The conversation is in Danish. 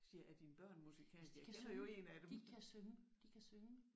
Jeg siger er dine børn musikalske? Jeg kender jo én af dem